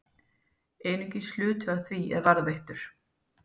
Einungis hluti af því er varðveittur.